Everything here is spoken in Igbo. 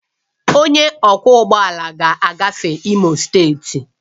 Onye ọkwọ ụgbọ ala ga-agafe Imo steeti